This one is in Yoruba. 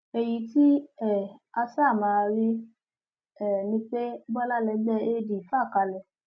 èyí tí um a ṣáà máa rí um ni pé bọlá lẹgbẹ ad fà kalẹ